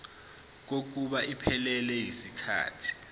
kokuba iphelele yisikhathi